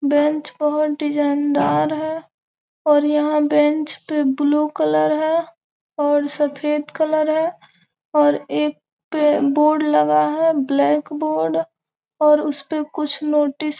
bench बहुत डिज़ाइनदार है और यहाँ बेंच पे ब्लू कलर है और सफ़ेद कलर है और एक पे बोर्ड लगा हैं ब्लैक बोर्ड और उसपे कुछ नोटिस --